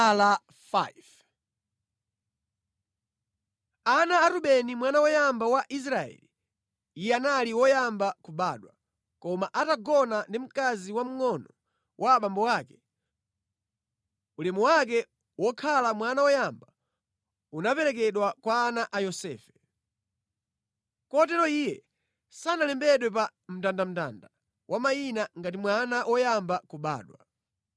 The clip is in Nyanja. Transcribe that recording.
Ana a Rubeni mwana woyamba wa Israeli (iye anali woyamba kubadwa, koma atagona ndi mkazi wamngʼono wa abambo ake, ulemu wake wokhala mwana woyamba unaperekedwa kwa ana a Yosefe. Kotero iye sanalembedwe pa mndandanda wa mayina ngati mwana woyamba kubadwa,